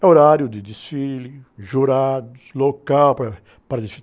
É horário de desfile, jurados, local para, para